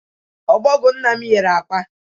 Ọbọgwọ nna m yiri akwa.